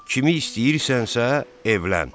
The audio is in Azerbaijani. Kimi istəyirsənsə, evlən.